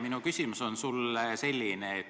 Minu küsimus on sulle selline.